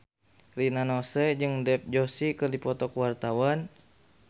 Rina Nose jeung Dev Joshi keur dipoto ku wartawan